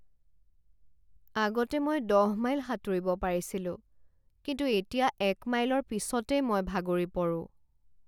আগতে মই দহ মাইল সাঁতুৰিব পাৰিছিলোঁ কিন্তু এতিয়া এক মাইলৰ পিছতে মই ভাগৰি পৰোঁ।